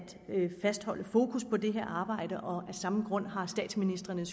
fastholde fokus på det her arbejde og af samme grund har statsministrene